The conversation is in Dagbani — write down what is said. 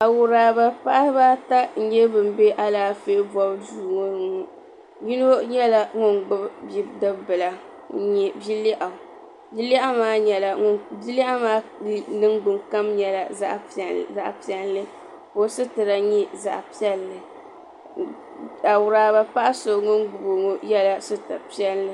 Awuraba paɣaba ata nyɛ bini bɛ alaafee bɔbu duu ŋɔ ni yino nyɛla ŋuni gbubi bia dibi bila ŋuni nyɛ bi lɛɣu bi lɛɣu maa niŋgbuŋ kom nyɛla zaɣi piɛlli ka o sitira nyɛ zaɣi piɛlli awuraba paɣa so ŋuni gbubi o ŋɔ ye la sitiri piɛlli.